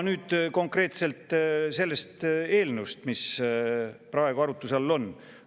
Nüüd konkreetselt sellest eelnõust, mis praegu arutluse all on.